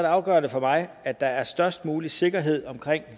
afgørende for mig at der er størst mulig sikkerhed omkring